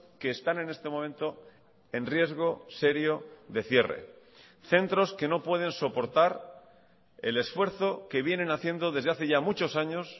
que están en este momento en riesgo serio de cierre centros que no pueden soportar el esfuerzo que vienen haciendo desde hace ya muchos años